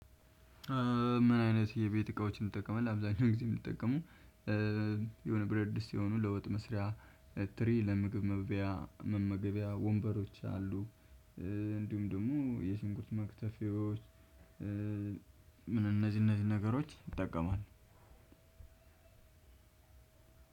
ምን አይነት የቤት እቃዎችን ትጠቀማለህአብዛኛው ጊዜ የምጠቀመው የሆነ ብር ድስት የሆኑ ለውጥ መስሪያ ትሪ ለምግብ መብያ መመገቢያ ወንበሮች አሉ እንዲሁም ደሞ የሽንኩርት መክተፊያዎች። ምን እነዚህ እነዚህ ነገሮች እጠቀማል አንድ ሁለት ሶስት እራት አምስት